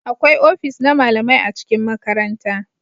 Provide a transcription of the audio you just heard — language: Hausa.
Akwai ofis na malamai a cikin makaranta